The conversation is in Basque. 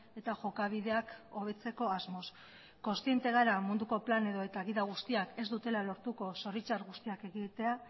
eta jokabideak hobetzeko asmoz kontziente gara munduko plan edota gida guztiak ez dutela lortuko zoritxar guztiak ekiditea